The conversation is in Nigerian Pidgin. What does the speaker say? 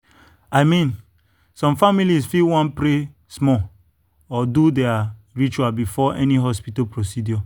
i mean some families fit wan pray small or do their ritual before any hospital procedure.